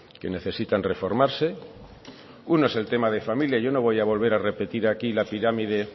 que necesitan reformarse uno es el tema de familia yo no voy a volver a repetir aquí la pirámide